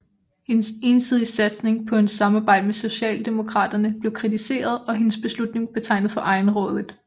Hendes ensidige satsning på et samarbejde med Socialdemokraterne blev kritiseret og hendes beslutning betegnet for egenrådigt